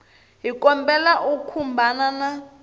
hi kombela u khumbana na